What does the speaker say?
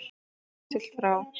Sé siglt frá